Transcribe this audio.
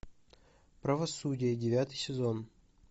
правосудие девятый сезон